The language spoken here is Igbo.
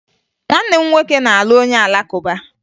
Nwanne m nwoke na-alụ onye Alakụba